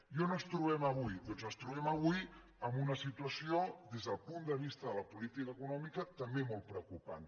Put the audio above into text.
i on ens trobem avui doncs ens trobem avui en una situació des del punt de vista de la política econòmica també molt preocupant